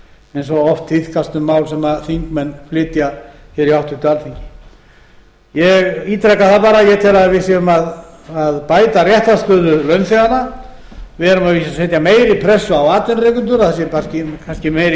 eins og oft tíðkast um mál sem þingmenn flytja hér í háttvirtu alþingi ég ítreka það bara að ég tel að við séum að bæta réttarstöðu launþega við erum að vísu að setja meiri pressu á atvinnurekendur að það sé kannski meiri